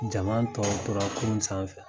Jama tɔw tora kurun sanfɛ.